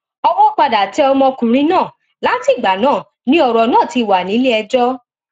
owó padà tẹ ọmọkùnrin náà látìgbà náà ni ọrọ náà ti wà nílẹẹjọ